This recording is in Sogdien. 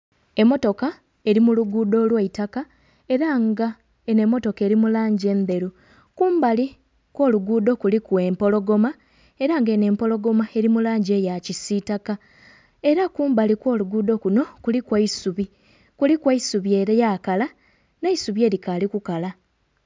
Emmotoka eri muluguudo olwaitaka era nga eno emmotoka eri mulangi endheru kumbali okw'oluguudo kuliku empologoma era nga eno empologoma eri mulangi eya kisitaka era kumbali okw'oluguudo kuno kuliku eisubi, kuliku eisubi eryakala n'eisubi eri kali kukala.